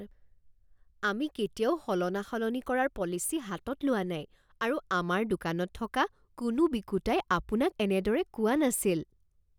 আমি কেতিয়াও সলনা সলনি কৰাৰ পলিচি হাতত লোৱা নাই আৰু আমাৰ দোকানত থকা কোনো বিকোঁতাই আপোনাক এনেদৰে কোৱা নাছিল